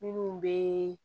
Minnu bɛ